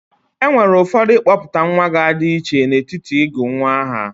Enwere ụfọdụ ịkpọpụta nwa ga-adi iche n'etiti ịgọ nwa aha.